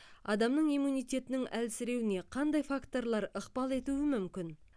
адамның иммунитетінің әлсіреуіне қандай факторлар ықпал етуі мүмкін